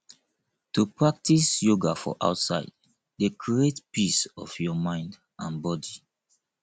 to practise yoga for outside dey create peace of your mind and body